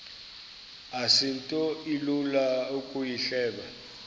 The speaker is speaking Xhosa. asinto ilula ukuyihleba